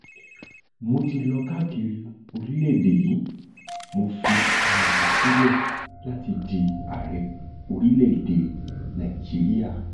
mo ti lọ káàkiri orílẹèdè yìí mo fi ara mi sílẹ láti di ààrẹ orílẹèdè nàíjíríà